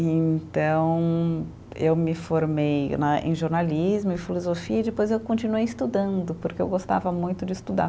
E então, eu me formei né, em jornalismo e filosofia e depois eu continuei estudando, porque eu gostava muito de estudar.